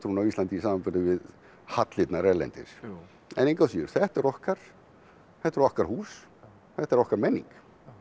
á Íslandi í samanburði við hallirnar erlendis en engu að síður þetta er okkar þetta eru okkar hús þetta er okkar menning